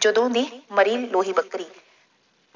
ਜਦੋਂ ਦੀ ਮਰੀ ਲੋਹੀ ਬੱਕਰੀ,